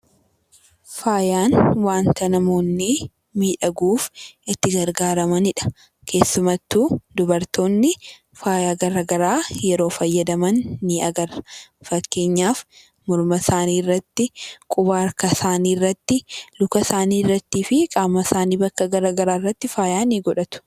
Faayaan wanta namoonni miidhaguuf itti gargaaramaniidha. Keessummattuu dubartoonni faayaa garaa garii yeroo fayyadaman ni agarra. Fakkeenyaaf morma isaanii irratti, quba harka isaanii irratti, luka isaanii irrattii fi qaama isaanii bakka garaa garii irratti faayaa ni godhatu.